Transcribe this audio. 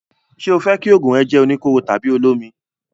Ṣé o fẹ́ kí òògùn rẹ jẹ́ oníkóró tàbí olómi?